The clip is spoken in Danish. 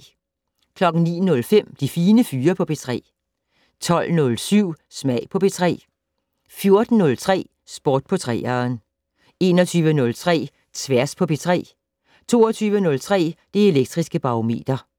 09:05: De Fine Fyre på P3 12:07: Smag på P3 14:03: Sport på 3'eren 21:03: Tværs på P3 22:03: Det Elektriske Barometer